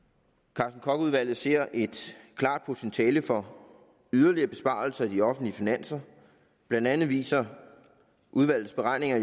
carsten koch udvalget ser et klart potentiale for yderligere besparelser i de offentlige finanser blandt andet viser udvalgets beregninger